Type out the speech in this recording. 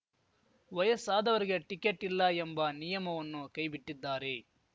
ವಯಸ್ಸಾದವರಿಗೆ ಟಿಕೆಟ್ ಇಲ್ಲ ಎಂಬ ನಿಯಮವನ್ನು ಕೈಬಿಟ್ಟಿದ್ದಾರೆ